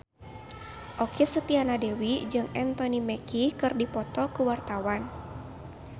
Okky Setiana Dewi jeung Anthony Mackie keur dipoto ku wartawan